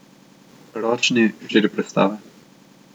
Ročni, štiri prestave.